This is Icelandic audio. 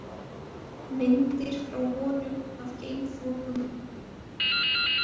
Myndir frá honum af geimþokum.